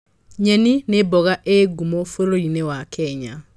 Nyeni nĩ mboga ĩĩ ngumo bũrũri-inĩ wa Kenya.